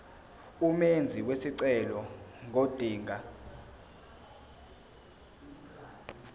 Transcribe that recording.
umenzi wesicelo ngodinga